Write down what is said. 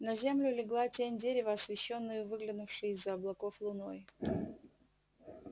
на землю легла тень дерева освещённою выглянувшей из за облаков луной